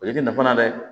O ye i tɛ nafa la dɛ